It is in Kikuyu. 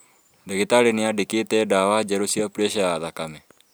Ndagĩtarĩ nĩandĩkĩte ndawa njerũ cia preca ya thakame